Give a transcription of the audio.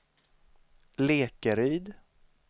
Lekeryd